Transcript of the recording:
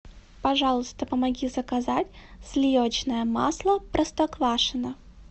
пожалуйста помоги заказать сливочное масло простоквашино